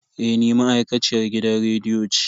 Eh ni ma'aikaciyar gidan rediyo ce.